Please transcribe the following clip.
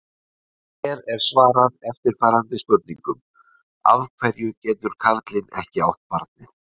Hér er svarað eftirfarandi spurningum: Af hverju getur karlinn ekki átt barnið?